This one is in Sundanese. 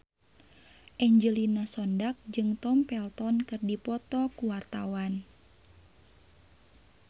Angelina Sondakh jeung Tom Felton keur dipoto ku wartawan